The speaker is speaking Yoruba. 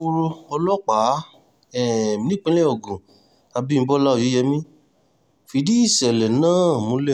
alukoro ọlọ́pàá um nípìnlẹ̀ ogun abimbọlá oyeyẹmí fìdí iṣẹ́lẹ náà múlẹ̀